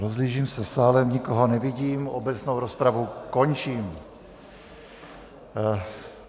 Rozhlížím se sálem, nikoho nevidím, obecnou rozpravu končím.